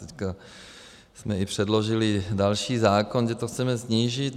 Teď jsme i předložili další zákon, kde to chceme snížit.